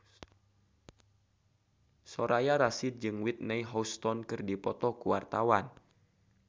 Soraya Rasyid jeung Whitney Houston keur dipoto ku wartawan